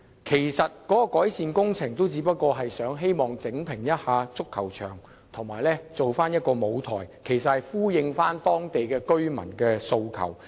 其實，有關改善工程只不過是重新鋪設足球場及搭建一個舞台，以回應當地居民的訴求。